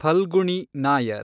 Phalguni Nair